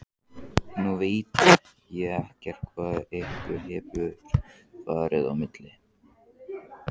Nú veit ég ekkert hvað ykkur hefur farið á milli?